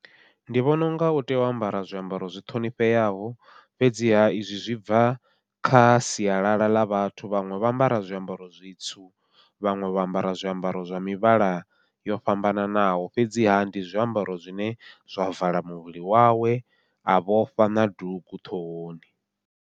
Ndi vhona unga u tea u ambara zwiambaro zwi ṱhonifheaho, fhedziha izwi zwi bva kha sialala ḽa vhathu vhaṅwe vho ambara zwiambaro zwitsu, vhaṅwe vho ambara zwiambaro zwa mivhala yo fhambananaho, fhedziha ndi zwiambaro zwine zwa vala muvhili wawe a vhofha na dugu ṱhohoni.